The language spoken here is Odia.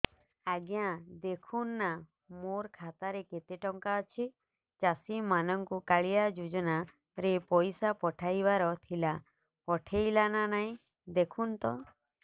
ଆଜ୍ଞା ଦେଖୁନ ନା ମୋର ଖାତାରେ କେତେ ଟଙ୍କା ଅଛି ଚାଷୀ ମାନଙ୍କୁ କାଳିଆ ଯୁଜୁନା ରେ ପଇସା ପଠେଇବାର ଥିଲା ପଠେଇଲା ନା ନାଇଁ ଦେଖୁନ ତ